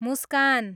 मुस्कान